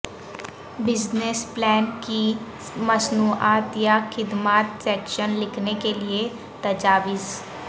business plan کی مصنوعات یا خدمات سیکشن لکھنے کے لئے تجاویز